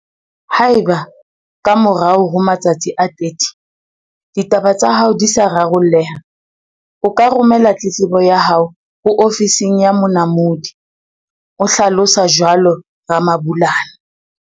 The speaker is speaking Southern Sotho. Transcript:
Haeba, ka morao ho matsatsi a 30, ditaba tsa hao di sa raro lleha, o ka romela tletlebo ya hao ho Ofising ya Monamodi o hlalosa jwalo Ramabulana.